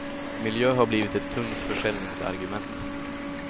Miljö har blivit ett tungt försäljningsargument.